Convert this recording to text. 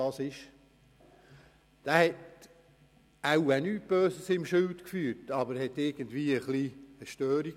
Wahrscheinlich führte der Mann nichts Böses im Schilde, er hatte aber wohl eine kleine Störung.